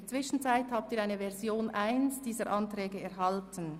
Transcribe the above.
Sie haben die Version 1 dieser Anträge erhalten.